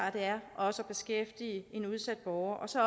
også at beskæftige udsatte borgere og så